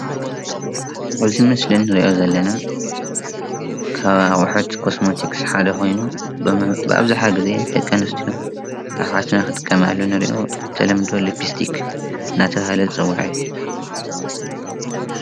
እዚ ምስሊ ናይ ደቂ ኣንስትዮ ናይ ከንፈር ዝልከ እዩ።